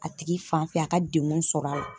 A tigi fan fɛ a ka deŋun sɔr'a la